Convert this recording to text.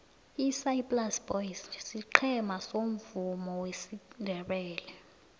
isaai plaas boys siqhema somvumo wesindebele